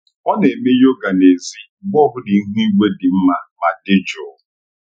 Ọ na-eme yoga n'èzí mgbe ọ bụla ihu igwe dị mma ma dị jụụ.